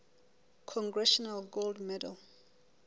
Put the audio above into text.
congressional gold medal